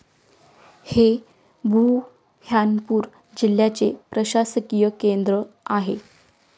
हे बुऱ्हाणपूर जिल्ह्याचे प्रशासकीय केंद्र आहे.